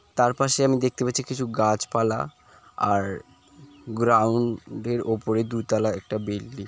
তার পাশে আমি দেখতে পাচ্ছি কিছু গাছপালা আর গ্রাউন্ড এর ওপরে দুতলা একটা বিল্ডিং ।